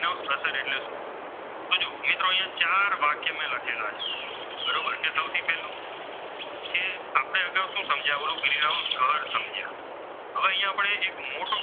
તો શું સમજ્યા કે ગ્રીન હાઉ અસર સમજ્યા. હવે અહીંયા આપણે એક મોટો,